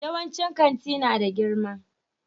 Yawancin kanti na da girma